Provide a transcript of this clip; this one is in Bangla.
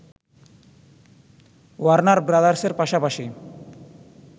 ওয়ার্নার ব্রাদার্সের পাশাপাশি